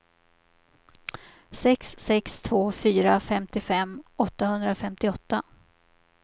sex sex två fyra femtiofem åttahundrafemtioåtta